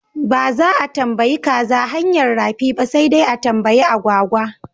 Ba za a tambayi kaza hanyar rafi ba sai dai a tambayi agwagwa.